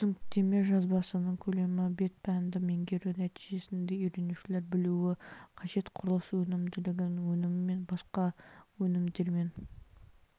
түсініктеме жазбасының көлемі бет пәнді меңгеру нәтижесінде үйренушілер білуі қажет құрылыс өнімділігінің өнімі мен басқа өнімдерден